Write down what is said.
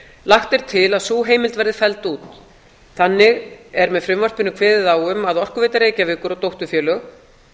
lagt er til að sú heimild verði felld út þannig er með frumvarpinu kveðið á um að orkuveita reykjavíkur og dótturfélög